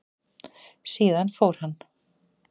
Síðan fór hann.